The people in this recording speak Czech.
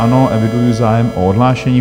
Ano, eviduji zájem o odhlášení.